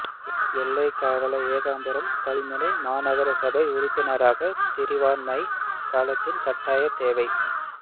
எல்லைக் காவலன் ஏகாம்பரம் கல்முனை மாநகரசபை உறுப்பினராக தெரிவானமை காலத்தின் கட்டாய தேவை